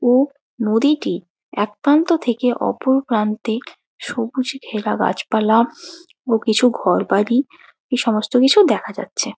ও নদীটি এক প্রান্ত থেকে অপর প্রান্তে সবুজ ঘেরা গাছপালা ও কিছু ঘরবাড়ি এই সমস্ত কিছু দেখা যাচ্ছে।